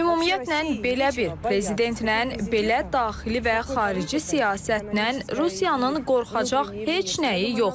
Ümumiyyətlə, belə bir prezidentlə, belə daxili və xarici siyasətlə Rusiyanın qorxacaq heç nəyi yoxdur.